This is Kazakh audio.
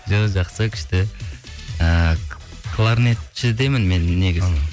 жоқ жақсы күшті ііі кларнетшідемін мен